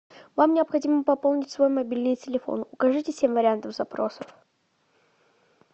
вам необходимо пополнить свой мобильный телефон укажите семь вариантов запросов